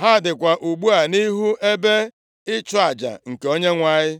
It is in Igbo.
Ha dịkwa ugbu a nʼihu ebe ịchụ aja nke Onyenwe anyị.”